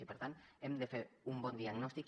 i per tant hem de fer un bon diagnòstic